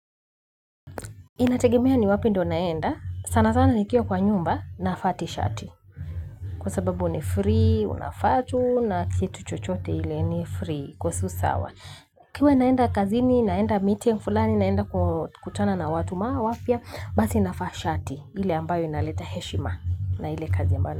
Inategemea ni wapi ndo naenda, sana sana nikiwa kwa nyumba, nafaa tishati. Kwa sababu ni free, unafaa tu na kitu chochote hile ni free kwa susawa. Kiwe naenda kazini naenda meeting fulani naenda kutana na watu maa wapia, basi nafaa shati, ile ambayo inaleta heshima na ile kazi ambayo.